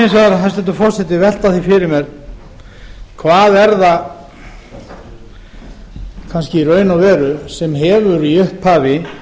vegar hæstvirtur forseti velta því fyrir mér hvað er það sem kannski í raun og veru hefur í upphafi